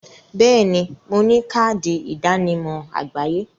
Bẹẹ ni, mo ní káàdì ìdánimọ̀ àgbáyé